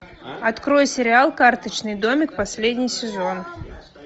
открой сериал карточный домик последний сезон